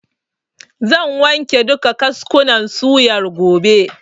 Zan wanke duka kaskunan suyar gobe.